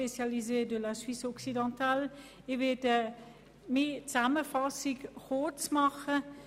Ich werde meine Zusammenfassung kurz halten.